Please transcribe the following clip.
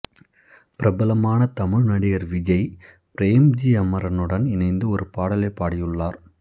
பிரபலமான தமிழ் நடிகர் விஜய் பிரேம்ஜி அமரனுடன் இணைந்து ஒரு பாடலை பாடியுள்ளார்